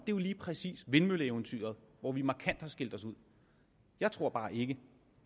jo lige præcis vindmølleeventyret hvor vi markant har skilt os ud jeg tror bare ikke